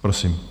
Prosím.